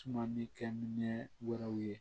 Tumani kɛ minɛn wɛrɛw ye